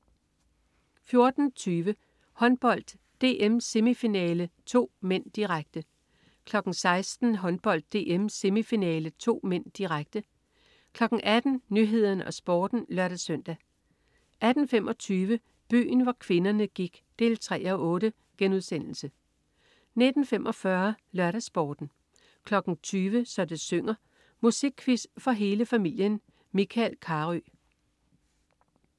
14.20 Håndbold: DM-semifinale 2 (m), direkte 16.00 Håndbold: DM-semifinale 2 (m), direkte 18.00 Nyhederne og Sporten (lør-søn) 18.25 Byen hvor kvinderne gik 3:8* 19.45 LørdagsSporten 20.00 Så det synger. Musikquiz for hele familien. Michael Carøe